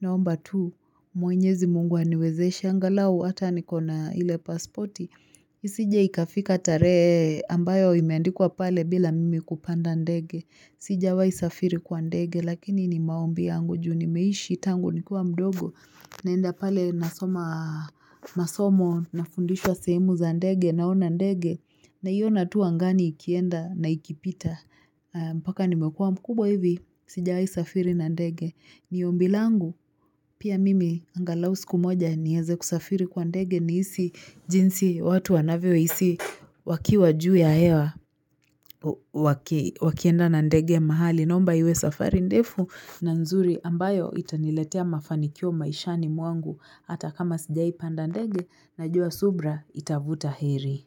Naomba tu mwenyezi mungu aniwezeshe angalau hata nikona ile pasporti. Isije ikafika tarehe ambayo imeandikwa pale bila mimi kupanda ndege. Sijiawai safiri kwa ndege lakini ni maombi yangu juu nimeishi tangu nikuwa mdogo naenda pale nasoma masomo nafundishwa sehemu za ndege naona ndege naiona tu angani ikienda na ikipita mpaka nimekuwa mkubwa hivi. Sijai safiri na ndege ni ombi langu pia mimi angalau siku moja nieze kusafiri kwa ndege nihisi jinsi watu wanavyohisi wakiwa juu ya hewa wakienda na ndege mahali nomba iwe safari ndefu na nzuri ambayo itaniletea mafanikio maishani mwangu hata kama sijaipanda ndege na jua subra itavuta heri.